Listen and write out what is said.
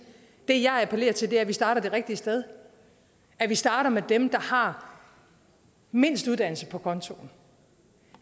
det jeg appellerer til er at vi starter det rigtige sted at vi starter med dem der har mindst uddannelse på kontoen